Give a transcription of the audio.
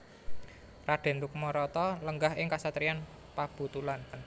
Raden Rukmarata lenggah ing kasatriyan Pabutulan